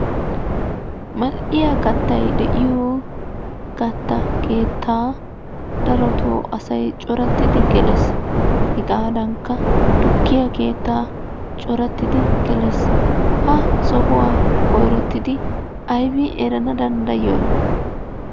Mal'iya kattay de'iyo katta keettaa darotto asay coratidi gelees. Hegaadankka tukkiya keettaa coratidi gelees. Ha sohuwa koyrottidi aybin erana danddayiyona?